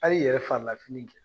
Hali i yɛrɛ farilafini kɛ.